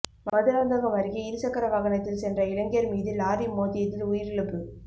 மதுராந்தகம் அருகே இருசக்கர வாகனத்தில் சென்ற இளைஞர் மீது லாரி மோதியதில் உயிரிழப்பு